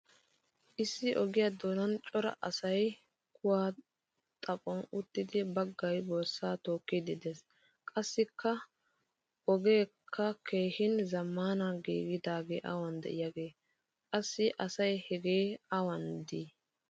Issi ogiyaa doonan cora asay kuwa xaphphon uttidi baggay borssaa tookidaykka de'ees. Qassikka ogeka keehin zammaana gididage awan de'iyaage? Qassi asay hage awan de'i?